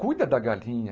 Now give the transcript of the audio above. Cuida da galinha.